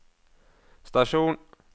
stasjon